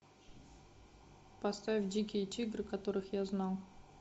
поставь дикие тигры которых я знал